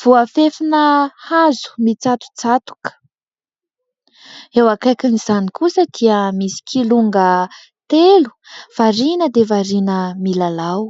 voafefina hazo mitsatotsatoka, eo akaikin'izany kosa dia misy kilonga telo variana dia variana milalao.